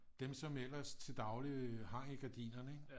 Dem som ellers til daglig hang i gardinerne ikke